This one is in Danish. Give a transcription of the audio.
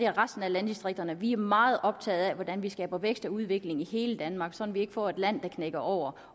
resten af landdistrikterne vi er meget optaget af hvordan vi skaber vækst og udvikling i hele danmark så vi ikke får et land der knækker over